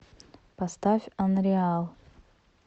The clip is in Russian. поставь анриал